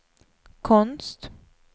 konst